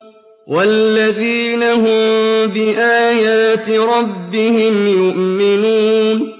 وَالَّذِينَ هُم بِآيَاتِ رَبِّهِمْ يُؤْمِنُونَ